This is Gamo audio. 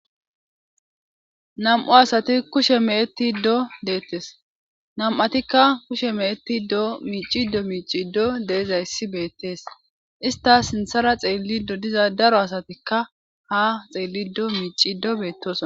nam7u asati kushe meetti ddo deettes nam7atikka kushe meetti do miicido miiciddo deezayssi beettees istas sinthara xeelli do diza daro asatikka ha xeellido miicido beettoss